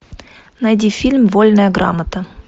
найди фильм вольная грамота